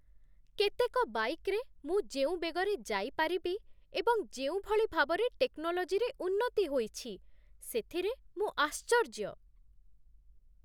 କେତେକ ବାଇକ୍ରେ ମୁଁ ଯେଉଁ ବେଗରେ ଯାଇପାରିବି ଏବଂ ଯେଉଁଭଳି ଭାବରେ ଟେକ୍ନୋଲୋଜିରେ ଉନ୍ନତି ହୋଇଛି, ସେଥିରେ ମୁଁ ଆଶ୍ଚର୍ଯ୍ୟ ।